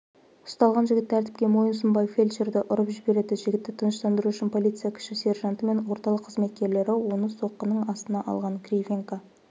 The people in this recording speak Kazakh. ұсталған жігіт тәртіпке мойынсұнбай фельдшерді ұрып жібереді жігітті тыныштандыру үшін полиция кіші сержанты мен орталық қызметкерлері оны соққының астына алған кривенко